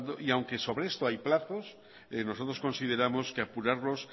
y aunque sobre esto hay plazos nosotros consideramos que apurarlos